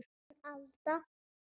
Þín Alda.